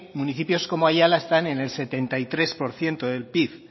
municipios como aiala están en el setenta y tres por ciento del pib